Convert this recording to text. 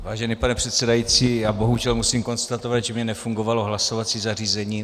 Vážený pane předsedající, já bohužel musím konstatovat, že mi nefungovalo hlasovací zařízení.